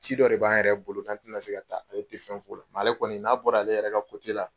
Ci dɔ de b'an yɛrɛ bolo n tɛna se ka taa ale tɛ fɛn f'o la nka ale kɔni n'a bɔra ale yɛrɛ ka la.